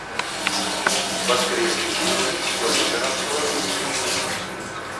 воскресный вечер с владимиром соловьевым